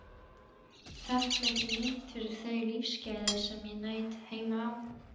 Þakklæti mitt fyrir þau lífsgæði sem ég naut heima á